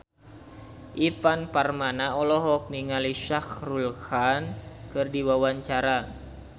Ivan Permana olohok ningali Shah Rukh Khan keur diwawancara